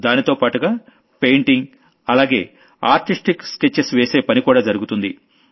దాంతోపాటుగా పెయింటింగ్ అలాగే artistic sketches వేసే పని కూడా జరుగుతుంది